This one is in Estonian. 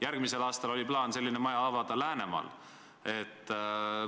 Järgmisel aastal oli plaan selline maja avada Läänemaal.